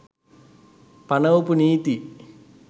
පණවපු නීති